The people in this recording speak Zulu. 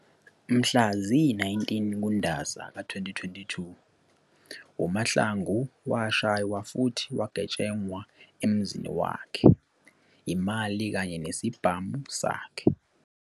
Mhla ziyi-19 kuNdasa ka-2022 uMahlangu washaywa futhi wagetshengwa emzini wakhe, imali kanye nesibhamu sakhe.